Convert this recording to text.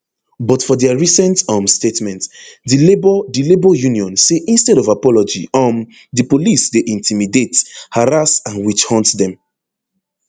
but for dia recent um statement di labour di labour union say instead of apology um di police dey intimidate harass and witchhunt dem